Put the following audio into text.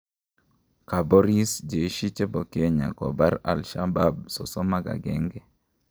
Kaporis Jeshi chepo Kenya kopar Ashabaab 31